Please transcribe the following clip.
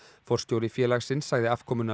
forstjóri félagsins sagði afkomuna